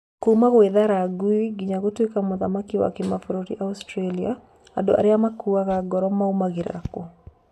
Kuma gwĩthara ngũĩ nginya gũtwĩka muthaki wa kĩmabũrũri Australia. Andũ arĩa makuaga ngoro maũmagĩrĩra kû?